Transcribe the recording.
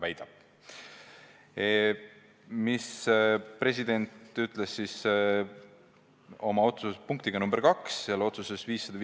Mida president ütles oma otsuses punktiga 2?